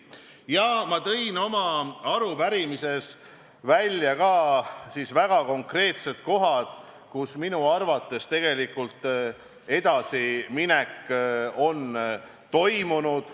Ja ma tõin oma arupärimise vastuses esile ka väga konkreetsed kohad, kus on minu arvates toimunud edasiminek.